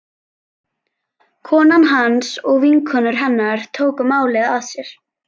Konan hans og vinkonur hennar tóku málið að sér.